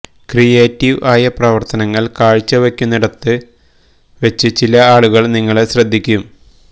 creative ആയ പ്രവർത്തനങ്ങൾ കാഴ്ച വെക്കുന്നിടത് വച്ച് ചില ആളുകൾ നിങ്ങളെ ശ്രദ്ധിക്കും